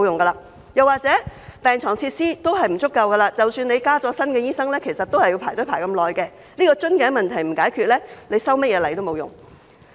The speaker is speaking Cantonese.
他們又或會說，病床設施不足，即使增加新醫生，病人仍要輪候很長時間，這個瓶頸問題若不解決，修甚麼例都沒用。